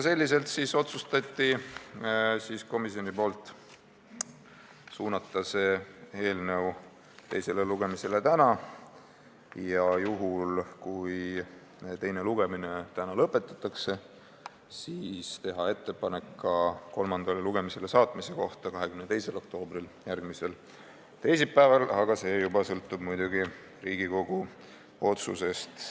Komisjon otsustas suunata selle eelnõu teisele lugemisele tänaseks ja juhul, kui teine lugemine täna lõpetatakse, teha ettepaneku ka kolmandale lugemisele saatmise kohta 22. oktoobriks, järgmiseks teisipäevaks, aga see, kas nii läheb, sõltub muidugi juba Riigikogu otsusest.